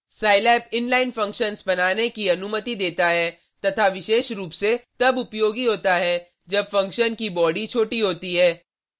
scilab inline function बनाने की अनुमति देता है तथा विशेष रूप से तब उपयोगी होता है जब फंक्शन की बॉडी छोटी होती है